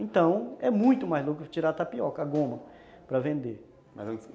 Então, é muito mais lucro tirar a tapioca, a goma, para vender